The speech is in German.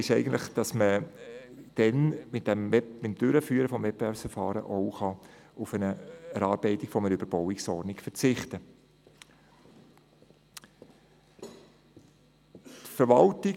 Ich weiss nicht, ob man das so sagen darf: Wird ein Wettbewerbsverfahren durchgeführt, kann auf die Erarbeitung einer Überbauungsordnung verzichtet werden.